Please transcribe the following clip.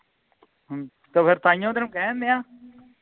ਤਾਂ ਫੇਰ ਤਾਹੀਓਂ ਤੈਨੂੰ ਕਹਿੰਨ ਡਆ